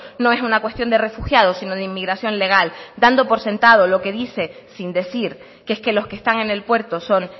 no es una cuestión de refugiados sino de inmigración legal dando por sentado lo que dice sin decir que es que los que están en el puerto son